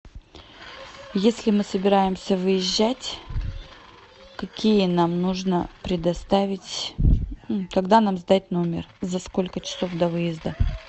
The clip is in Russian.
если мы собираемся выезжать какие нам нужно предоставить когда нам сдать номер за сколько часов до выезда